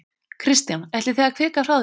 Kristján: Ætlið þið að kvika frá þessu?